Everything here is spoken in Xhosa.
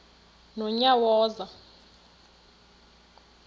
nonyawoza